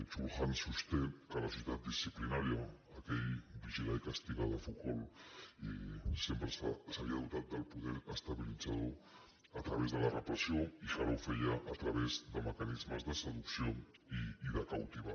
chul han sosté que la societat disciplinària aquell vigilar i castigarsempre s’havia dotat del poder estabilitzador a través de la repressió i que ara ho feia a través de mecanismes de seducció i de captivar